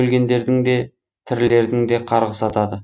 өлгендердің де тірілердің де қарғысы атады